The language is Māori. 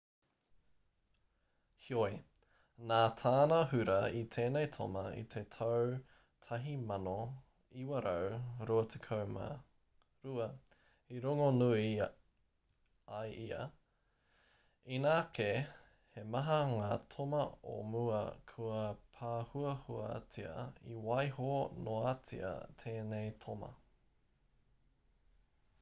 heoi nā tāna hura i tēnei toma i te tau 1922 i rongonui ai ia inā kē he maha ngā toma o mua kua pāhuahuatia i waiho noatia tēnei toma